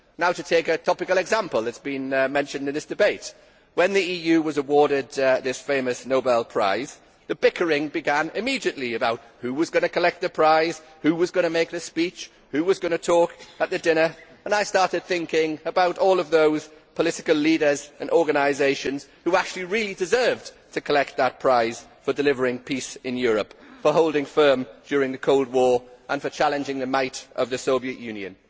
To take a topical example that has been mentioned in this debate, when the EU was awarded this famous Nobel Prize, the bickering began immediately about who was going to collect the prize, who was going to make the speech and who was going to talk at the dinner. I started thinking about all of those political leaders and organisations who actually really deserved to collect that prize for delivering peace in Europe, for holding firm during the Cold War and for challenging the might of the Soviet Union.